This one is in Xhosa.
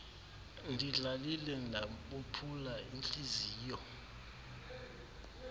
ndidlalile ndabophula iintliziyo